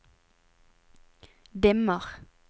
dimmer